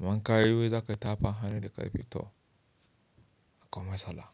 Amma ka yi wai za ka tafa hannu da ƙarfi to akwai matsala.